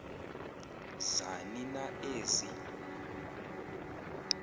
zani na ezi